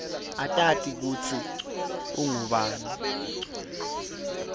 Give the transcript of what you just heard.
utati kutsi ungubani